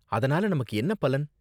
அதனால நமக்கு என்ன பலன்?